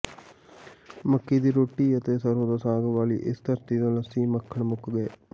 ਮੱਕੀ ਦੀ ਰੋਟੀ ਅਤੇ ਸਰੋਂ ਦੇ ਸਾਗ ਵਾਲੀ ਇਸ ਧਰਤੀ ਤੋਂ ਲੱਸੀ ਮੱਖਣ ਮੁੱਕ ਗਏ